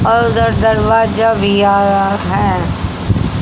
और उधर दरवाजा भी आया है।